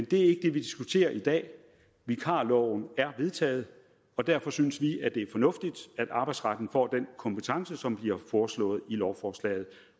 det vi diskuterer i dag vikarloven er vedtaget og derfor synes vi at det er fornuftigt at arbejdsretten får den kompetence som bliver foreslået i lovforslaget